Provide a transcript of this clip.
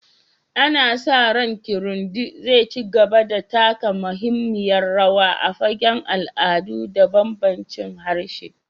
Ana sa ran Kirundi zai ci gaba da taka muhimmiyar rawa a fagen al'adu da bambancin harshe.